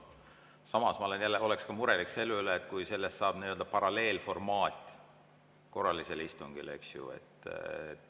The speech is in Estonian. Samas ma oleks ka murelik selle üle, kui neist saab nii-öelda paralleelformaat korralistele istungitele.